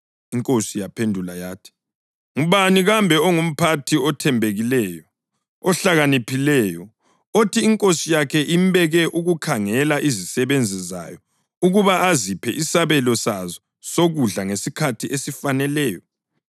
INkosi yaphendula yathi, “Ngubani kambe ongumphathi othembekileyo, ohlakaniphileyo, othi inkosi yakhe imbeke ukukhangela izisebenzi zayo ukuba aziphe isabelo sazo sokudla ngesikhathi esifaneleyo?